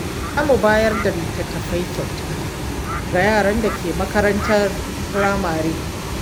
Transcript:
Za mu bayar da littattafai kyauta ga yaran da ke makarantar firamare.